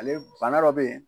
Ale bana dɔ be ye